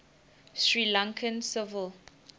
sri lankan civil